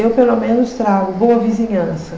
Eu, pelo menos, trago boa vizinhança.